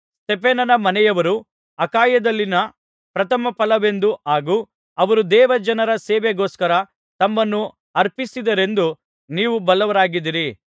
ಸ್ತೆಫನನ ಮನೆಯವರು ಅಖಾಯದಲ್ಲಿನ ಪ್ರಥಮಫಲವೆಂದು ಹಾಗೂ ಅವರು ದೇವಜನರ ಸೇವೆಗೋಸ್ಕರ ತಮ್ಮನ್ನು ಅರ್ಪಿಸಿದ್ದಾರೆಂದು ನೀವು ಬಲ್ಲವರಾಗಿದ್ದೀರಿ